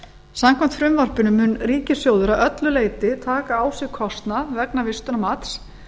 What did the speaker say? samkvæmt frumvarpinu mun ríkissjóður að öllu leyti taka á sig kostnað vegna vistunarmats